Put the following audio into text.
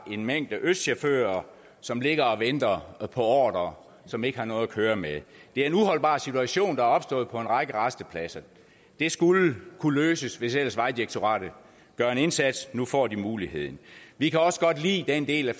en mængde østchauffører som ligger og venter ordrer og som ikke har noget at køre med det er en uholdbar situation der er opstået på en række rastepladser det skulle kunne løses hvis ellers vejdirektoratet gør en indsats nu får de muligheden vi kan også godt lide den del af